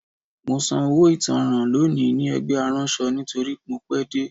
Mo san owó ìtanràn lónìí ní ẹgbẹ́ aránṣọ nítorí mo pẹ́ dé